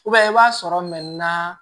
i b'a sɔrɔ